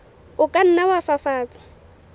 o ka nna wa fafatsa